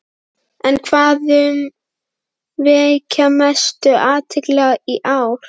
En hvað mun vekja mestu athyglina í ár?